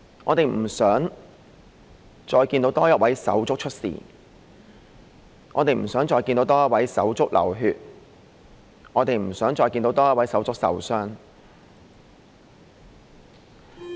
我們不想再看到多一位手足出事、不想再看到多一位手足流血、亦不想再看到多一位手足受傷。